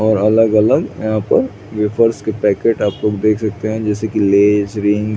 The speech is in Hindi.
और अलग-अलग और यहाँ पे पैकेट आप देख सकते है जैसे की लेस रिंग --